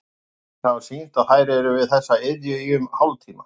Rannsóknir hafa sýnt að þær eru við þessa iðju í um hálftíma.